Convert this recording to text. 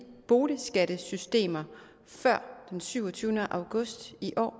boligskattesystemer før den syvogtyvende august i år